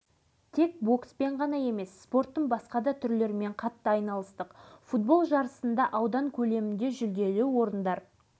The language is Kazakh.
жаттығу алаңымыз кәдімгі көкмайса даланың төсі ал нағыз боксшының алашыбай аға өзі тауып әкелді аз